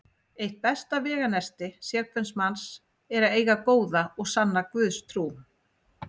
Eitt besta veganesti sérhvers manns er að eiga góða og sanna Guðstrú.